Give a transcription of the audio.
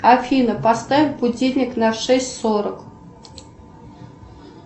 афина поставь будильник на шесть сорок